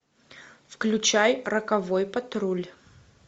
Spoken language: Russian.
включай роковой патруль